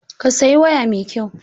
Ka saya waya mai kyau!